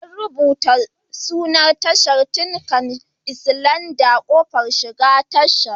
An rubuta sunan tashar Tinkan Island a kofar shiga tashar.